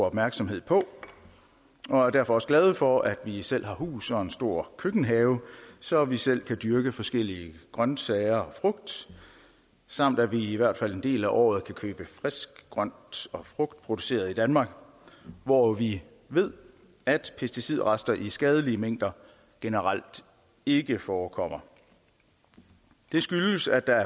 opmærksomme på og er derfor også glade for at vi selv har hus og en stor køkkenhave så vi selv kan dyrke forskellige grønsager og frugt samt at vi i hvert fald en del af året kan købe frisk grønt og frugt produceret i danmark hvor vi ved at pesticidrester i skadelige mængder generelt ikke forekommer det skyldes at der